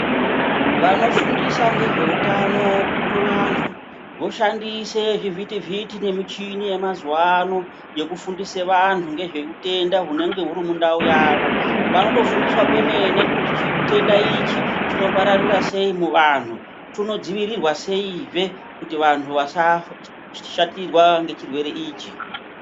Vanofundisa nezveutano kuvantu vashandise zvivhitivhiti nemuchini yemazuva ano yekufundisa vantu nezveutenda hunenge huri mundau yavo. Vanofundiswa kwemene kuti chitenda ichi chinopararira sei muvanhu, chinodzivirirwa seizve kuti vantu vasashatirwa ngechirwere ichi.